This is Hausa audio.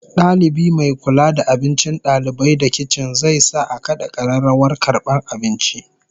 Dalibi mai kula da abincin dalibai da kicin zai sa a kada kararrawar karbar abinci